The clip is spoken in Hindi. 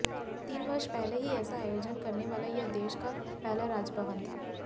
तीन वर्ष पहले ही ऐसा आयोजन करने वाला यह देश का पहला राजभवन था